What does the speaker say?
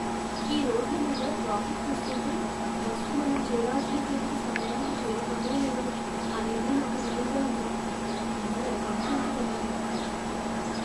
ఈ రోడ్ల మీద ట్రాఫిక్ చూస్తుంటే, బస్సు మనం చేరాల్సిన చోటుకి సమయానికి చేరుతుందో లేదో అనేదే నాకు దిగులుగా ఉంది. నేను ఓ ఫంక్షన్కి వెళ్ళాలి.